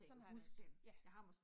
Sådan har jeg det også, ja